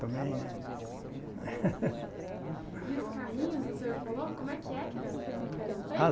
Também, né? E os carrinhos, o senhor falou, como é que é que era que eram feitos?